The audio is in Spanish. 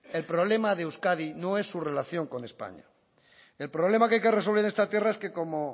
el problema de euskadi no es su relación con españa el problema que hay que resolver en esta tierra es que como